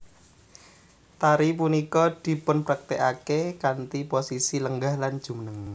Tari punika dipunpraktékaken kanthi posisi lenggah lan jumeneng